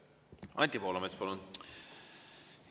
Anti Poolamets, palun!